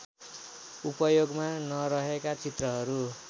उपयोगमा नरहेका चित्रहरू